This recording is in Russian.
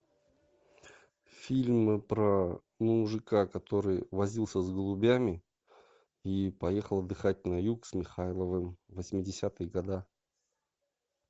фильм про мужика который возился с голубями и поехал отдыхать на юг с михайловым восьмидесятые года